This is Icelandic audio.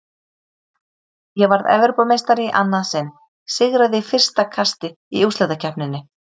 Ég varð Evrópumeistari í annað sinn, sigraði í fyrsta kasti í úrslitakeppninni.